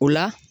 O la